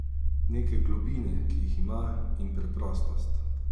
Neke globine, ki jih ima, in preprostost.